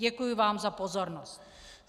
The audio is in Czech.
Děkuji vám za pozornost.